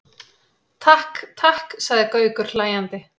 Takk, takk sagði Gaukur hlæjandi.